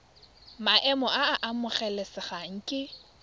maemo a a amogelesegang ke